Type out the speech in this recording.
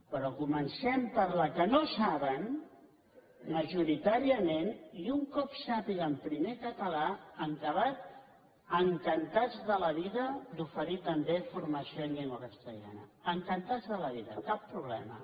però comencem per la que no saben majoritària·ment i un cop sàpiguen primer català en acabat encan·tats de la vida d’oferir també formació en llengua cas·tellana encantats de la vida cap problema